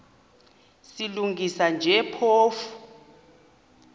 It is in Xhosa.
silungisa nje phofu